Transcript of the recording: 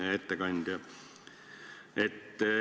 Hea ettekandja!